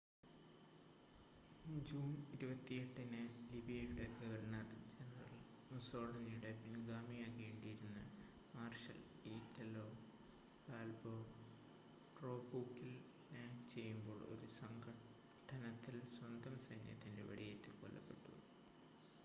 June 28-ന് ലിബിയയുടെ governor general മുസ്സോളിനിയുടെ പിൻഗാമിയാകേണ്ടിയിരുന്ന മാർഷൽ ഇറ്റാലോ ബാൽബോ ടോബ്രൂക്കിൽ ലാൻഡ് ചെയ്യുമ്പോൾ ഒരു സംഘട്ടനത്തിൽ സ്വന്തം സൈന്യത്തിൻ്റെ വെടിയേറ്റ് കൊല്ലപ്പെട്ടു